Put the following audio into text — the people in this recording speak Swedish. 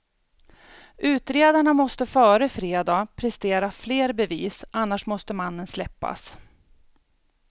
Utredarna måste före fredag prestera fler bevis, annars måste mannen släppas.